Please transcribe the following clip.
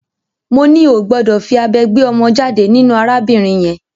Mo ní o ò gbọdọ̀ fí abẹ gbé ọmọ jáde nínú arábìnrin yẹn!